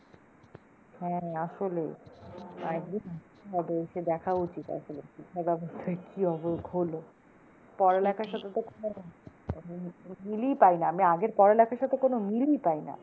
হ্যাঁ আসলে একদিন হবে এসে দেখা উচিৎ আসলে শিক্ষা ব্যবস্থার কি হলো, পড়ালেখার কোন, মিলই পাইনা আমি আগের পড়ালেখার সাথে কোন মিলই পাইনা।